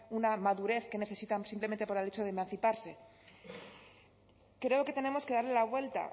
una madurez que necesitamos simplemente por el hecho de emanciparse creo que tenemos que darle la vuelta